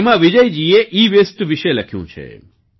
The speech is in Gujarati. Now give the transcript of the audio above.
તેમાં વિજયજીએ ઈવેસ્ટ વિશે લખ્યું છે